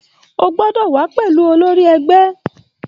O gbọ́dọ̀ wà á pẹ̀lú olórí ẹgbẹ́